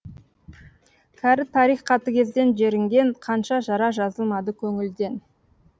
кәрі тарих қатыгезден жерінген қанша жара жазылмады көңілден